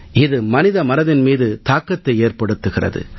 இது மனித மனதின் மீதும் தாக்கத்தை ஏற்படுத்துகிறது